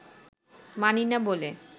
মানি না বলে